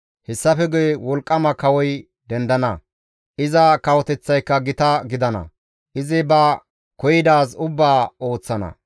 Hessafe guye wolqqama kawoy dendana; iza kawoteththayka gita gidana; izi ba koyidaazi ubbaa ooththana.